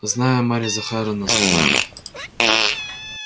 знаю марья захаровна сказал я